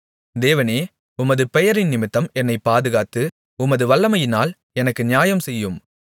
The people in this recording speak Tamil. தேவனே உமது பெயரினிமித்தம் என்னைப் பாதுகாத்து உமது வல்லமையினால் எனக்கு நியாயம் செய்யும்